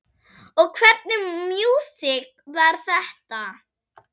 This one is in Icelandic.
Og hvernig músík var þetta?